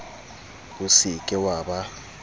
o se ke wa ba